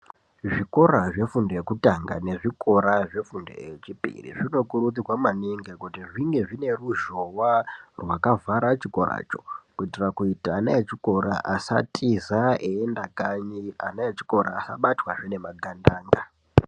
Zvikora zve fundo yekutanga ne zvikora zve fundo ye chipiri zvino kurudzirwa maningi kuti zvinge zvine ruzhowa rwaka vhara chikora cho kuitira kuti ana echikora asa tiza eyi ende kanyi ana echikora asa batwa zve ne magandanga.